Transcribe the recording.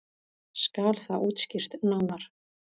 Skal það útskýrt nánar.